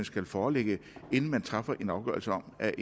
skal foreligge inden man træffer en afgørelse om at